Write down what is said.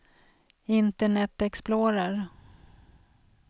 internet explorer